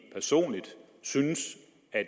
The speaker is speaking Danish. personligt synes